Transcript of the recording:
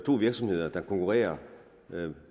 to virksomheder der konkurrerer